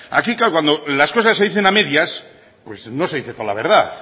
aquí claro cuando las cosas se dicen a medias pues no se dice toda la verdad